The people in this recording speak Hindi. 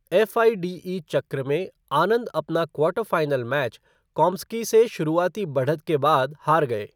एफ़आईडीई चक्र में आनंद अपना क्वार्टर फ़ाइनल मैच काम्स्की से शुरुआती बढ़त के बाद हार गए।